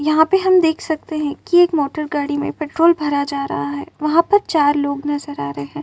यहाँ पे हम देख सकते हैं कि एक मोटर गाड़ी में पेट्रोल भरा जा रहा है। वहाँ पर चार लोग नजर आ रहे हैं।